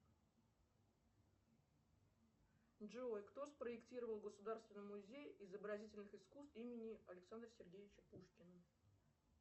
джой кто спроектировал государственный музей изобразительных искусств имени александра сергеевича пушкина